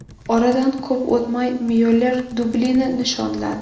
Oradan ko‘p o‘tmay Myuller dublini nishonladi.